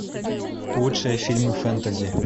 лучшие фильмы фэнтези